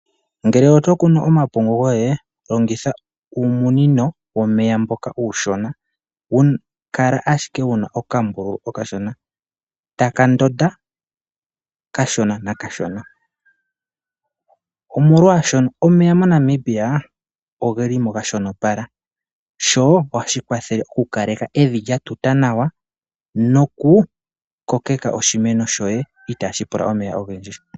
Ngele oto kunu omapungu goye, longitha uumunino womeya mboka uushona, hawu kala ashike wu na okambululu okashona taka ndonda kashona nakashona molwaashono omeya moNamibia ogeli mo ga shonopala sho ohashi kwathele okukalaka evi lya tuta nawa nokukokeka oshimeno shoye itaashi pula omeya ogendji.